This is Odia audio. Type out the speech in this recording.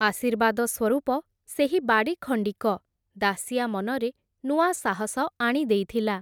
ଆଶୀର୍ବାଦସ୍ୱରୂପ ସେହି ବାଡ଼ି ଖଣ୍ଡିକ, ଦାଶିଆ ମନରେ ନୂଆ ସାହସ ଆଣି ଦେଇଥିଲା ।